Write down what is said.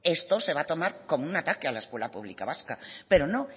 esto se va a tomar como un ataque a la escuela pública vasca pero no